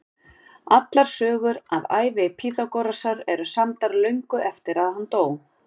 Allar sögur af ævi Pýþagórasar eru samdar löngu eftir að hann dó.